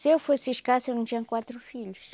Se eu fosse escassa, eu não tinha quatro filhos.